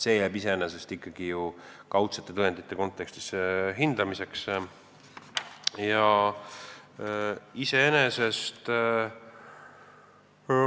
See jääb ikkagi ju kaudsete tõendite kontekstis hindamiseks.